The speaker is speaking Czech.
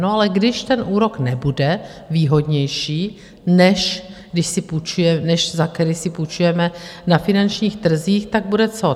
No ale když ten úrok nebude výhodnější, než za který si půjčujeme na finančních trzích, tak bude co?